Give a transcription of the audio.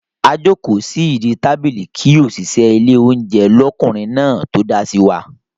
A jókòó sí ìdí tábìlì kí òṣìṣẹ́ ilé oúnjẹ l'ọkunrin náà tó dá sí wa.